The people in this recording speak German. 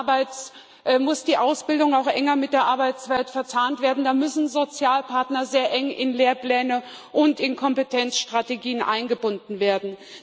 Da muss die Ausbildung auch enger mit der Arbeitswelt verzahnt werden, da müssen Sozialpartner sehr eng in Lehrpläne und in Kompetenzstrategien eingebunden werden.